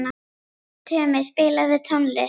Tumi, spilaðu tónlist.